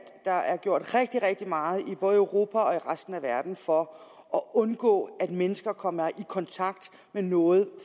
der er gjort rigtig rigtig meget i både europa og resten af verden for at undgå at mennesker kommer i kontakt med noget